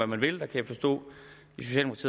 man vil jeg kan forstå